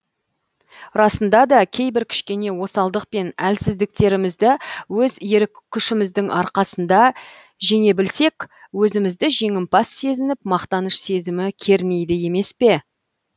расында да кейбір кішкене осалдық пен әлсіздіктерімізді өз ерік күшіміздің арқасында жеңе білсек өзімізді жеңімпаз сезініп мақтаныш сезімі кернейді емес пе